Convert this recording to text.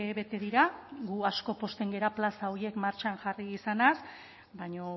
bete dira gu asko pozten gara plaza horiek martxan jarri izanez baina